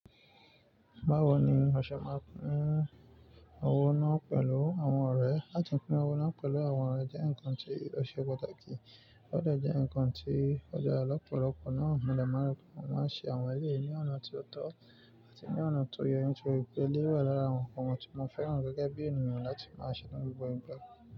Báwo ni o ṣe máa ń pín owó náà pẹ̀lú àwọn ọ̀rẹ́? Lati pín owó náà pẹ̀lú àwọn ọ̀rẹ́ jẹ́ ǹkan tí ọ̀ṣẹ́ pàtàkì, ó de jẹ ǹkan tí ọ̀ dara lọ́pọ̀lọpọ̀ náà múdẹ̀ ma un. Mo máa ṣe àwọn ẹleyì ní ọ̀nà tó tọ́ àti ní ọ̀nà tó ye nitoripe, elé wà lára àwọn nǹkan tí mo fẹ́ràn gẹ́gẹ́ bí ènìyàn láti máa ṣe nínú gbogbo igba.